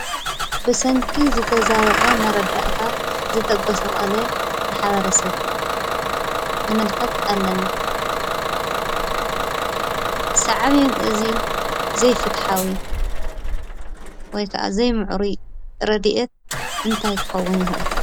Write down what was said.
ብሰንኪ ዝተዛበዐ መረዳእታ ዝተጎሳቆለ ማሕበረሰብ ንምልከት ኣለና፡፡ ሳዕቤን እዚ ዘይፍትሓዊ ወይ ከዓ ዘይምዕሩይ ረዲአት እንታይ ይከውን ይክእል?